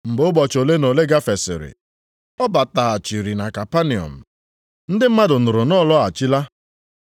Mgbe ụbọchị ole na ole gafesịrị, ọ bataghachiri na Kapanọm. Ndị mmadụ nụrụ na ọ lọghachila.